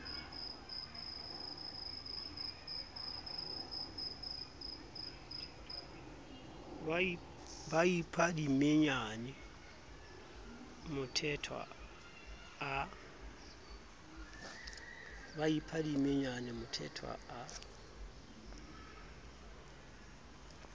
ba ipha dimenyane mthethwa a